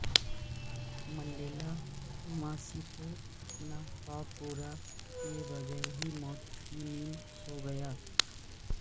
Mandela ماسیکو اپنا خواب پورا کئے بغیر ہی موت کی نیند سو گیا